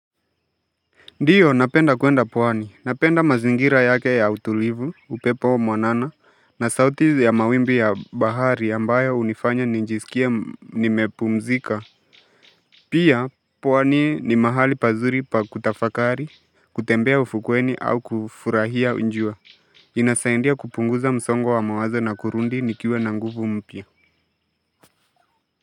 Ndiyo napenda kwenda pwani. Napenda mazingira yake ya utulivu, upepo mwanana na sauti ya mawimbi ya bahari ambayo hunifanya nijisikie nimepumzika Pia pwani ni mahali pazuri pa kutafakari kutembea ufukweni au kufurahia jua. Inasaidia kupunguza msongo wa mawazo na kurudi nikiwa na nguvu mpya.